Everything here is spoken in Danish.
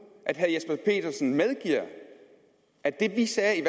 at herre jesper petersen medgiver at det vi sagde i